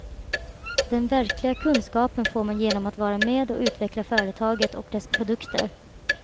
Den verkliga kunskapen får man genom att vara med och utveckla företaget och dess produkter.